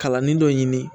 Kalannin dɔ ɲini